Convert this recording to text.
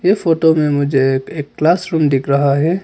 इस फोटो में मुझे एक क्लास रूम दिख रहा है।